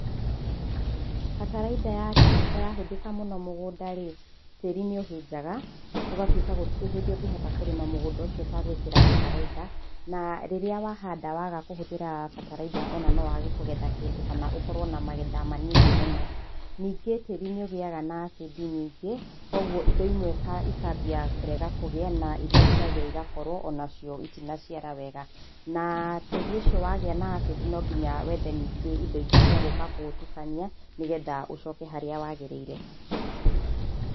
Bataraitha ya kemiko ya hũthĩka mũno mũgũnda rĩ, tĩri nĩ ũhĩnjaga ũgatuĩka gũtirĩ hĩndĩ ũngĩhota kũrĩma mũgũnda ũcio ũtegwikĩra bataraitha, na rĩrĩa wa handa waga kũhũthĩra bataraitha ona no wage kũgetha kĩndũ kana ũkorwo na magetha manini mũno. Ningĩ tĩrĩ nĩ ũgĩaga na acid nyingĩ koguo ĩndo ĩmwe ĩkambia kũrega kũgĩa na ĩria ciagĩa ĩgakorwo onacio ĩtina ciara wega. Na tĩri ũcio wagĩa na acid no nginya wethe ningĩ ĩndo ĩngĩ cia gũka kũũtukania nĩgetha ũcoke haria wagĩrĩire.